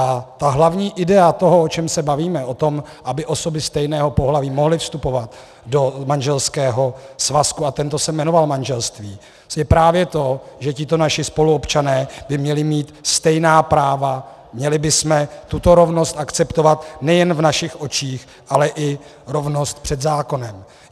A ta hlavní idea toho, o čem se bavíme, o tom, aby osoby stejného pohlaví mohly vstupovat do manželského svazku a tento se jmenoval manželství, je právě to, že tito naši spoluobčané by měli mít stejná práva, měli bychom tuto rovnost akceptovat nejen v našich očích, ale i rovnost před zákonem.